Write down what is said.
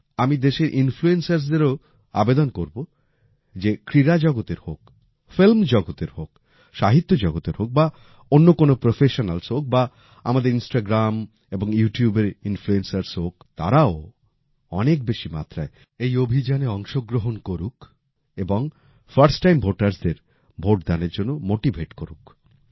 আমি দেশের influencersদেরও আবেদন করবো সে ক্রীড়া জগতের হোক ফিল্ম জগতের হোক সাহিত্য জগতের হোক বা অন্য কোন প্রফেশনালস হোক বা আমাদের ইনস্টাগ্রাম এবং ইউটিউবের ইনফ্লুয়েন্সার্স হোক তারাও অনেক বেশি মাত্রায় এই অভিযানে অংশগ্রহণ করুক এবং ফার্স্ট টাইম ভোটারস দের ভোট দানের জন্য মোটিভেট করুক